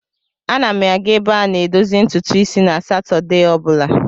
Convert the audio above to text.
Ana m aga ebe a na-edozi ntutu isi na Satọdee ọ bụla.